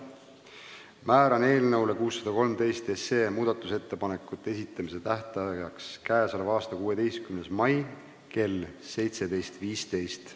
Määran eelnõu 613 muudatusettepanekute esitamise tähtajaks k.a 16. mai kell 17.15.